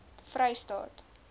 vrystaat